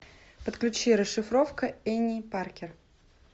подключи расшифровка энни паркер